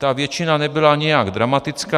Ta většina nebyla nijak dramatická.